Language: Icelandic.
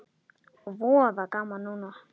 Voða gaman núna.